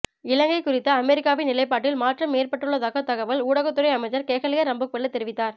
இலங்கை குறித்த அமெரிக்காவின் நிலைப்பாட்டில் மாற்றம் ஏற்பட்டுள்ளதாக தகவல் ஊடகத்துறை அமைச்சர் கெஹலிய ரம்புக்வெல்ல தெரிவித்தார்